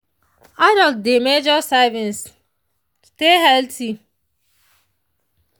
adults dey measure servings stay healthy.